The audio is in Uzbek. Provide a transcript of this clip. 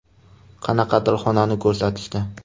Qanaqadir xonani ko‘rsatishdi.